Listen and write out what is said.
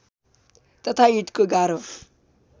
तथा ईँटको गारो